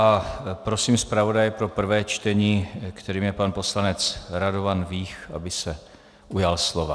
A prosím zpravodaje pro prvé čtení, kterým je pan poslanec Radovan Vích, aby se ujal slova.